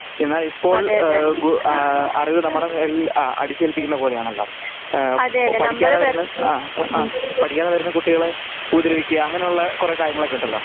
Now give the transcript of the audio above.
എന്നാലിപ്പോൾ ആ അറിവ് നമ്മുടെ മേളില് അടിച്ചേൽപ്പിക്കുന്നത് പോലെയാണല്ലോ? പഠിക്കാതെ വരുന്ന ആ അ പഠിക്കാതെ വരുന്ന കുട്ടികളെ ഉപദ്രവിക്കുക അങ്ങനെ കുറെ കാര്യങ്ങളൊക്കെ ഉണ്ടല്ലോ?